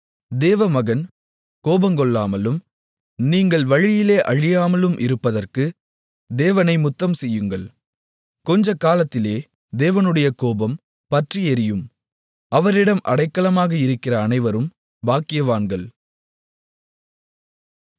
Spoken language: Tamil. தேவமகன் கோபங்கொள்ளாமலும் நீங்கள் வழியிலே அழியாமலும் இருப்பதற்கு தேவனை முத்தம்செய்யுங்கள் கொஞ்சக்காலத்திலே தேவனுடைய கோபம் பற்றியெரியும் அவரிடம் அடைக்கலமாக இருக்கிற அனைவரும் பாக்கியவான்கள்